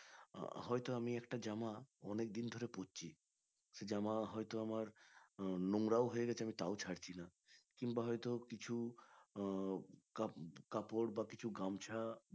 হয়তো আমি একটা জামা অনেক দিন ধরে পড়ছি সে জামা হয়তো আমার আহ নোংরাও হয়ে গেছে আমি তাও ছাড়ছি না কিংবা হয়ত কিছু আহ কাপ কাপড় বা কিছু গামছা